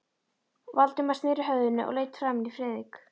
Valdimar sneri höfðinu og leit framan í Friðrik.